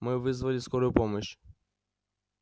мы вызвали скорую помощь